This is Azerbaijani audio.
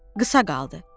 Qısa qaldı.